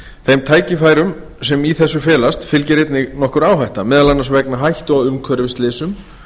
þeim tækifærum sem í þessu felast fylgir einnig nokkur áhætta meðal annars vegna hættu á umhverfisslysum